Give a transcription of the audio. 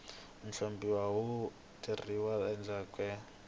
nhlonipho wu tekeriwa enhlokweni